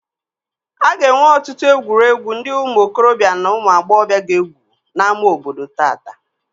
A ga-enwe ọtụtụ egwuregwu ndị ụmụ okorobịa na ụmụ agbọghọbịa ga-egwu n'ámá obodo tata